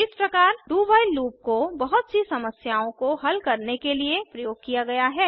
इस प्रकार do while loop को बहुत सी समस्याओं को हल करने के लिए प्रयोग किया गया है